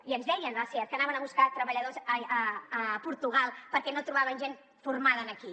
i ens deien a seat que anaven a buscar treballadors a portugal perquè no trobaven gent formada aquí